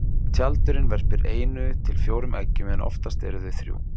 Tjaldurinn verpir einu til fjórum eggjum en oftast eru þau þrjú.